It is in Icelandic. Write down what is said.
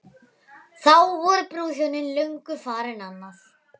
Þá voru brúðhjónin löngu farin annað.